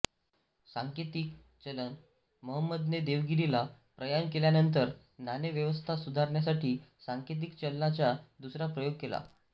सांकेतिक चलन मोहंमदने देेवगिरीला प्रयाण केल्यानंंतर नाणेव्यवस्था सुधारण्यासाठी सांकेतिक चलनाचा दुसरा प्रयोग केला